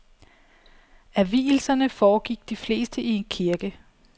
Af vielserne foregik de fleste i kirke.